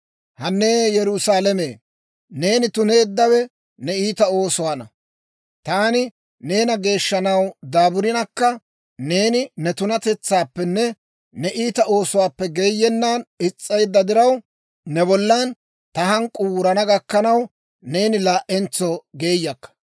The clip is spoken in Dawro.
Hanne Yerusaalame, neeni tuneeddawe ne iita oosuwaanna. Taani neena geeshshanaw daaburinakka, neeni ne tunatetsaappenne ne iita oosuwaappe geeyennan is's'eedda diraw, ne bollan ta hank'k'uu wurana gakkanaw, neeni laa"entso geeyakka.